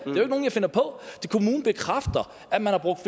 nogle jeg finder på kommunen bekræfter at man har brugt